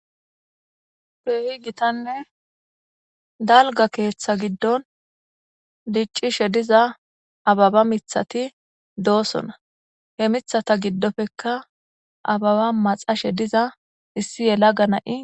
peehi gitanne dalga keeththa giddon diccishe diza ababa mithati doosona he mithata giddofekka ababa maxashe diza issi yela ga na7i